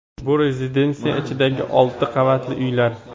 Bu rezidensiya ichidagi olti qavatli uylar.